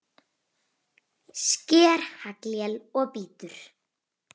Sker haglél og bítur.